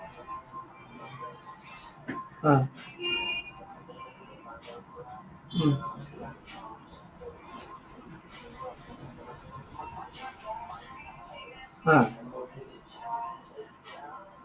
উম হা।